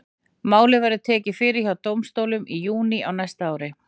Málið verður tekið fyrir hjá dómstólum í júní á næsta ári.